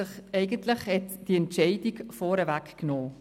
Sie hat die Entscheidung eigentlich vorweggenommen.